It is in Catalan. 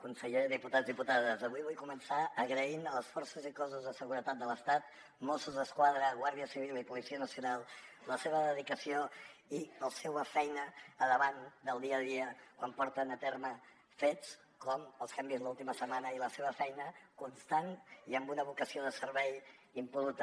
conseller diputats diputades avui vull començar agraint a les forces i cossos de seguretat de l’estat mossos d’esquadra guàrdia civil i policia nacional la seva dedicació i la seva feina davant del dia a dia quan porten a terme fets com els que hem vist l’última setmana i la seva feina constant i amb una vocació de servei impol·luta